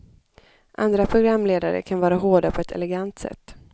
Andra programledare kan vara hårda på ett elegant sätt.